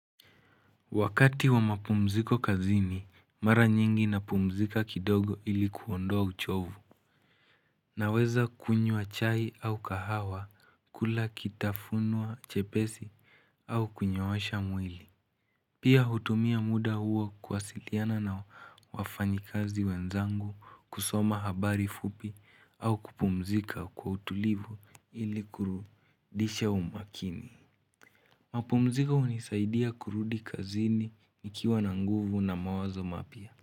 Wakati wa mapumziko kazini, mara nyingi napumzika kidogo ili kuondoa uchovu. Naweza kunywa chai au kahawa kula kitafunwa chepesi au kunyoosha mwili. Pia hutumia muda huo kuwasiliana na wafanyikazi wenzangu, kusoma habari fupi au kupumzika kwa utulivu ili kurudisha umakini. Mapumziko hunisaidia kurudi kazini nikiwa na nguvu na mawazo mapya.